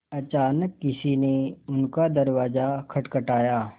अचानक किसी ने उनका दरवाज़ा खटखटाया